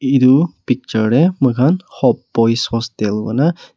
itu picture teh muihan hope boys hostel kuina.